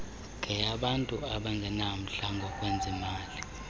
yeyabantu abangenamndla ngokwezimali